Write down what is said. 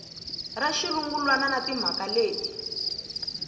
ra xirungulwana na timhaka leti